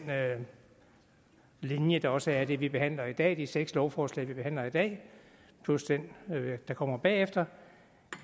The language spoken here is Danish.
linje der også er i det vi behandler i dag de seks lovforslag vi behandler i dag plus det der kommer bagefter